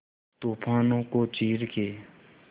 तूफानों को चीर के